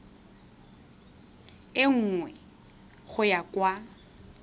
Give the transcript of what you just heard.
e nngwe go ya kwa